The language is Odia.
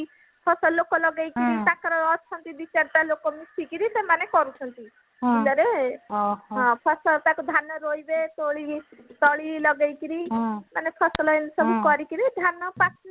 ଫସଲ ଲୋକ ଲଗେଇକିରି ତାଙ୍କର ଅଛନ୍ତି ଦି ଚାରିଟା ଲୋକ ମିଶିକିରି ସେମାନେ କରୁଛନ୍ତି ବିଲରେ ତାକୁ ଫସଲ ତାକୁ ଧାନ ରୋଇବେ ତୋଳିବେ ତଳି ଲଗେଇକିରି ମାନେ ଫସଲ ଏଇମିତି ସବୁ କରିକିରି ମାନେ ଧାନ ପାଚୁଛି